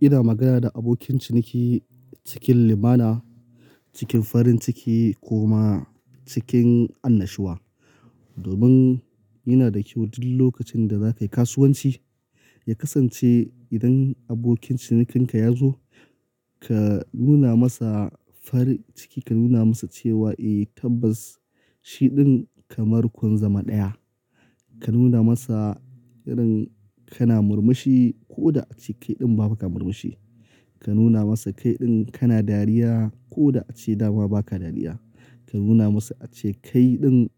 Ina magana da abokin ciniki cikin limana, cikin farin ciki ko ma cikin annashuwa. Domin iya da kyau duk lokacin da za ka yi kasuwanci, ya kasance idan abokin cinikinka ya zo, ka nuna masa farin ciki, ka nuna masa cewa eh tabbas shi ɗin kamar kun zama ɗaya. Ka nuna masa irin kana murmushi ko da a ce kai ɗin ba ka murmushi. Ka nuna masa kai ɗin kana dariya ko da a ce dama ba ka dariya. Ka nuna masa a ce kai ɗin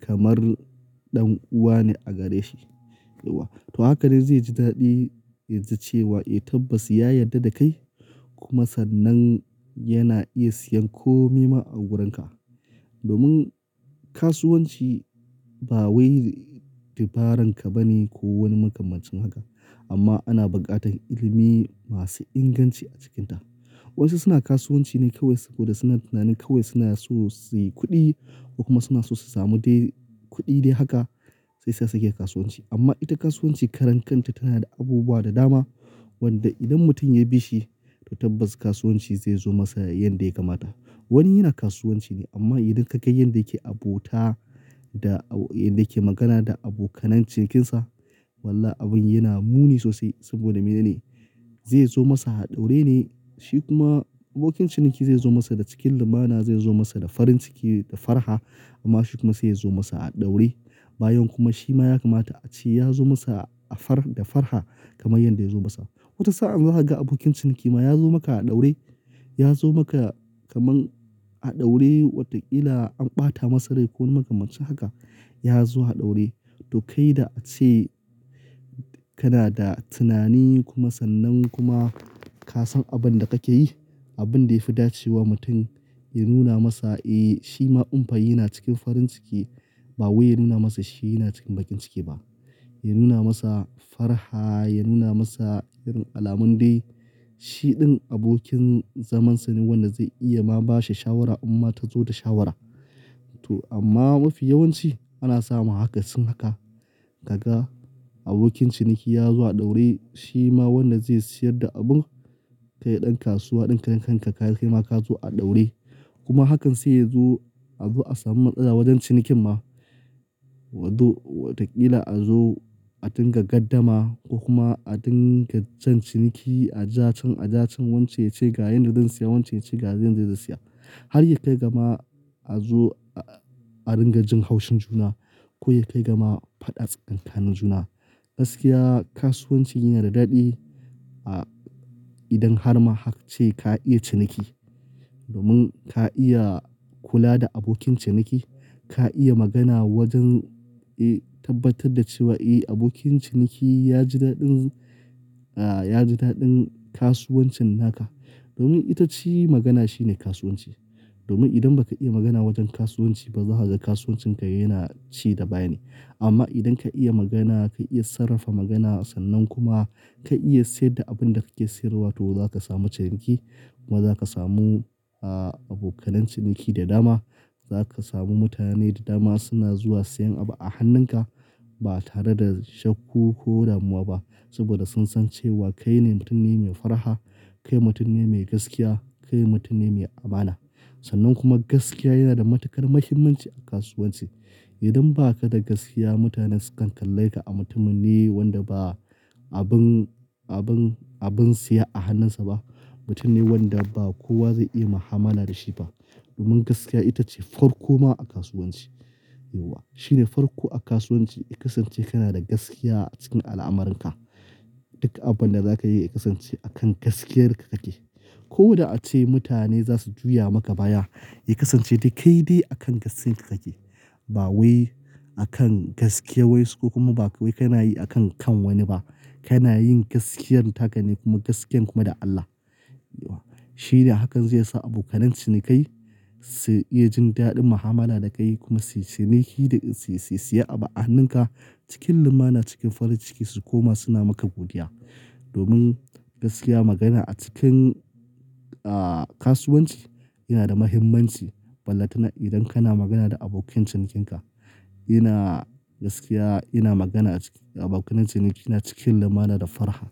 kamar ɗan uwa ne a gare shi. To haka ne zai ji daɗi ya ji cewa eh tabbas ya yarda da kai kuma sannan yana iya siyan kome ma a wurinka. Domin kasuwanci ba wai dabaran ka ba ne ko wani makamancin haka. Amma ana buƙatar ilimi masu inganci a cikinta. Wasu suna kasuwanci ne kawai sabo da suna tunanin kawai suna so su yi kuɗi ko kuma suna so su samu dai kuɗi dai haka shi yasa suke kasuwanci. Amma ita kasuwanci karan kanta tana da abubuwa da dama wanda idan mutum ya bi shi to tabbas kasuwanci zai zo masa yanda ya kamata. Wani yana kasuwanci ne amma idan ka ga yanda yake abota da yanda yake magana da abokanai cinikinsa, walla abin yana muni sosai saboda mene ne? Zai zo masa a ɗaure ne, shi kuma abokin ciniki zai zo masa da cikin limana, zai zo masa da farin ciki da farha amma shi kuma sai yazo masa a ɗaure. Bayan kuma shi ma ya kamata a ce ya zo masa a far da farha kamar yanda ya zo masa. Wata sa'an za ka ga abokin ciniki ma ya zo maka a ɗaure, ya zo maka kamar a ɗaure watakila an ɓata masa rai ko wani makamancin haka, ya zo a ɗaure. To kai da a ce kana da tunani kuma sannan kuma ka san abin da kake yi, abin da ya fi dace wa mutum, ya nuna masa eh shi ma in fa yana cikin farin ciki ba wai ya nuna masa shi yana cikin bakin ciki ba. Ya nuna masa farha, ya nuna masa irin alamun dai. Shi ɗin abokin zamansa ne wanda zai iya ma bashi shawara inma ta zo da shawara. To amma mafi yawanci ana samu aka sin haka. Ka ga abokin ciniki ya zo a ɗaure shi ma wanda zai siyar da abun kai ɗan kasuwa ɗin karen kanka kai ma ka zo a ɗaure. Kuma hakan sai ya zo a zo a samu matsala wajen cinikin ma. Wato watakila a zo a dinga gardama ko kuma a dinga jan ciniki, a ja cen a ja cen wance ya ce ga yanda zan siya wance ya ce ga yanda zai saya. Har ya kai gama a zo a dinga jin haushin juna ko ya kai gama faɗa tsakanin juna. Gaskiya kasuwanci yana da daɗi idan har ma haka ce ka iya ciniki. Domin ka iya kula da abokin ciniki, ka iya magana wajen, eh tabbatar da cewa eh abokin ciniki ya ji daɗin, ya ji daɗin kasuwancin naka. Domin ita ce magana shine kasuwanci. Domin idan ba ka iya magana wajen kasuwanci ba za a ga kasuwancin ka yana ci da baya ne. Amma idan ka iya magana, ka iya sarrafa magana sannan kuma ka iya siyar da abin da kake siyarwa to za ka samu ciniki kuma za ka samu abokanai ciniki da dama. Za ka samu mutane da dama suna zuwa siyan abu a hannunka ba tare da shaku ko damuwa ba saboda sun san cewa kai ne mutum ne mai farha, kai mutum ne mai gaskiya, kai mutum ne mai amana. Sannan kuma gaskiya yana da matukar muhimmanci a kasuwanci. Idan ba ka da gaskiya mutane sukan kalle ka a mutumin ne wanda ba abun, abun, abun siya a hannunsa ba. Mutum ne wanda ba kowa zai iya mu'amala da shi ba. Domin gaskiya ita ce farko ma a kasuwanci. Yauwa shine farko a kasuwanci. Ya kasance kana da gaskiya cikin al'amuranka. Duk abin da za ka yi ya kasance a kan gaskiyarka kake. Ko da a ce mutane za su juya maka baya, ya kasance dai kai dai a kan gaskiyarka kake. Ba wai a kan gaskiya wai su ko kuma ba wai kana yi a kan kan wani ba. Kana yin gaskiyar taka ne kuma gaskiyar kuma da Allah. Yauwa shine hakan zai sa abokanai cinikai su iya jin daɗin mu'amala da ka yi kuma sai-ciniki dai sai-saiya abu a hannunka cikin limana cikin farin ciki su kuma suna maka godiya. Domin gaskiya magana a cikin kasuwanci yana da muhimmanci. Wallahi tanai idan kana magana da abokin cinikinka, yana gaskiya, yana magana a cikin abokanai ciniki, yana cikin limana da farha.